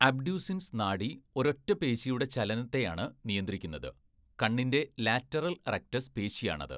Abducens നാഡി ഒരൊറ്റ പേശിയുടെ ചലനത്തെയാണ് നിയന്ത്രിക്കുന്നത്, കണ്ണിൻ്റെ ലാറ്ററൽ റെക്ടസ് പേശിയാണത്.